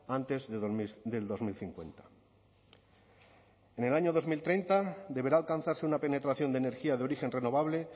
antes del dos mil cincuenta en el año dos mil treinta deberá alcanzarse una penetración de energía de origen renovable